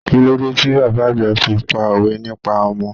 Kílódé ti bàbá àgbà fi pá òwe nípa ọmọ?